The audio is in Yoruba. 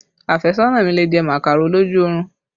Afesona mi lè jẹ màkàró lójú orun